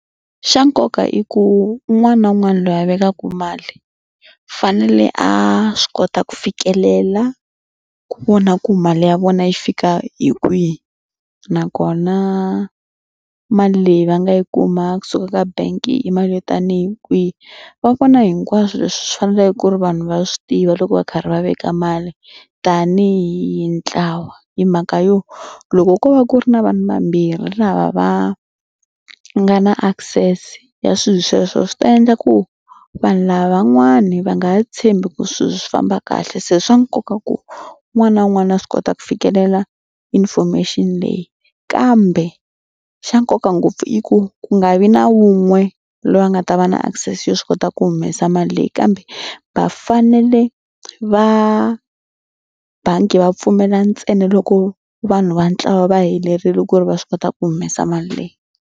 Xa nkoka i ku un'wana na un'wana loyi a vekaka mali fanele a swi kota ku fikelela ku vona ku mali ya vona yi fika hi kwihi nakona mali leyi va nga yi kuma kusuka ka bank i mali yo tanihi kwihi. Va vona hinkwaswo leswi swi faneleke ku ri vanhu va swi tiva loko va karhi va veka mali tanihi ntlawa hi mhaka yo loko ko va ku ri na vanhu vambirhi lava va nga na access ya swilo sweswo swi ta endla ku vanhu lavan'wani va nga ha tshembi ku swilo swi famba kahle. Se swa nkoka ku un'wana na un'wana a swi kota ku fikelela information leyi kambe xa nkoka ngopfu i ku ku nga vi na wun'we loyi a nga ta va na access yo swi kota ku humesa mali leyi kambe va fanele va bangi va pfumela ntsena loko vanhu va ntlawa va helerile ku ri va swi kota ku humesa mali leyi.